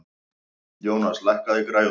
Jónas, lækkaðu í græjunum.